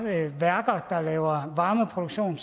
værker der laver varmeproduktion